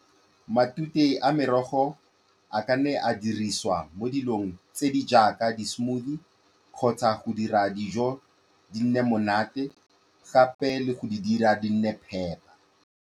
Matute a merogo a ka nne a dirisiwa mo dilong tse di jaaka di-smoothie kgotsa go dira dijo di nne monate, gape le go di dira di nne phepa.